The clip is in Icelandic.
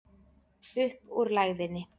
Upp úr lægðinni